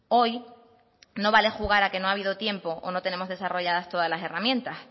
hoy no vale jugar a que no ha habido tiempo o no tenemos desarrolladas todas las herramientas